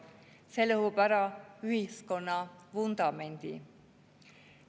See lõhub ära ühiskonna vundamendi.